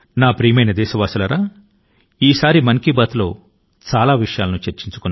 నా ప్రియమైన దేశవాసులారా ఈ మన్ కీ బాత్ మనసు లో మాట లో చాలా విషయాలపైన చర్చించాము